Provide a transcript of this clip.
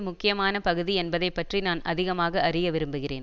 முக்கியமான பகுதி என்பதை பற்றி நான் அதிகமாக அறிய விரும்புகிறேன்